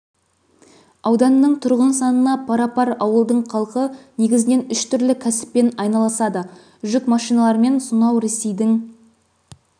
ауданының тұрғын санына пара-пар ауылдың халқы негізінен үш түрлі кәсіппен айналысады жүк машиналарымен сонау ресейдің